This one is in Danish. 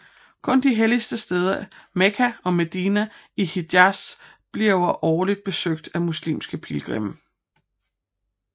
Kun de hellige steder Mekka og Medina i Hijaz bliver årligt besøgt af muslimske pilgrimme